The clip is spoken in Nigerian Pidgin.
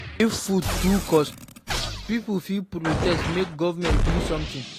If food too cost, pipo fit protest make government do something.